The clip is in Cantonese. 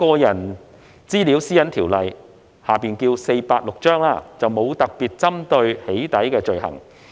現時《私隱條例》並沒有特別針對"起底"的罪行。